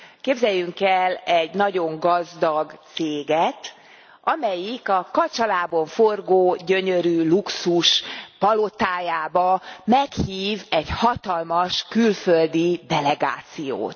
Képzeljünk el egy nagyon gazdag céget, amelyik a kacsalábon forgó, gyönyörű luxuspalotájába meghív egy hatalmas külföldi delegációt.